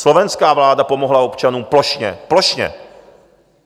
Slovenská vláda pomohla občanům plošně, plošně!